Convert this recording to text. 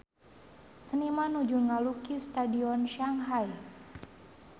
Seniman nuju ngalukis Stadion Shanghai